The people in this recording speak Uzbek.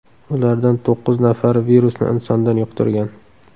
Ulardan to‘qqiz nafari virusni insondan yuqtirgan.